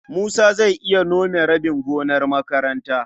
Musa zai iya nome rabin gonar makaranta.